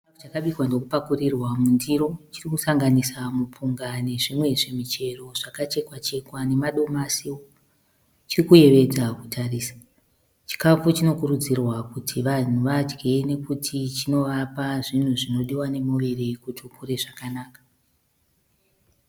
Chakabikwa ndokupakurirwa mundiro chiri kusanganisa mupunga nezvimwe zvimuchero zvakachekwa chekwa nemadomasi, chiri kuyevedza kutarisa, chikafu chinokurudzirwa kuti vanhu vadye nekuti chinovapa zvimwe zvinodiwa nemuviri kuti ukure zvakanaka.